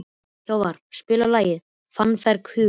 Hávarr, spilaðu lagið „Fannfergi hugans“.